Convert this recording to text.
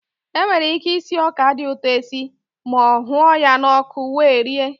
E nwere ike isi ọka dị ụtọ esi ma ọ hụọ ya n'ọkụ wee rie.